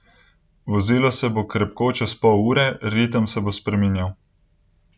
Vozilo se bo krepko čez pol ur, ritem se bo spreminjal.